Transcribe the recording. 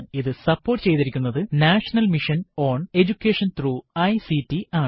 ഇത് സപ്പോർട്ട് ചെയ്തിരിക്കുനത് national mission on education through ICT ആണ്